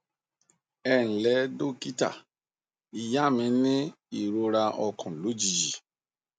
ẹ ǹ lẹ dókítà ìyá mi ní ìrora ọkàn lójijì